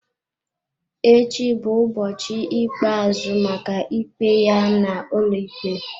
Echi bụ ụbọchị ikpeazụ maka ikpe ya n'ụlọikpe.